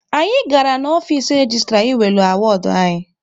Anyị gara ọfici registra ị welụ awọdụ anyị.